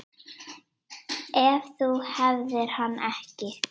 Ef þú hefðir hann ekki.